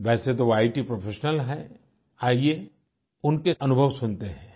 वैसे तो वे इत प्रोफेशनल हैं आइये उनके अनुभव सुनते हैं